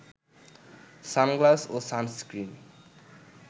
sunglass ও sunscreen